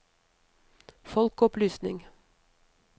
folkeopplysning